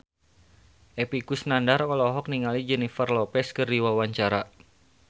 Epy Kusnandar olohok ningali Jennifer Lopez keur diwawancara